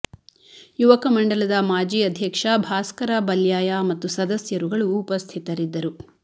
ಯುವಕ ಮಂಡಲದ ಮಾಜಿ ಅಧ್ಯಕ್ಷ ಭಾಸ್ಕರ ಬಲ್ಯಾಯ ಮತ್ತು ಸದಸ್ಯರುಗಳು ಉಪಸ್ಥಿತರಿದ್ದರು